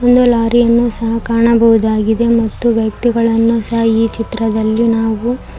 ಒಂದು ಲಾರಿಯನ್ನು ಸಹ ಕಾಣುಬಹುದಾಗಿದೇ ಮತ್ತು ವ್ಯಕ್ತಿಗಳನ್ನು ಸಹ ಈ ಚಿತ್ರದಲ್ಲಿ ನಾವು --